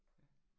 Ja